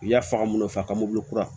U y'a faga mun fɛ a ka mobili kura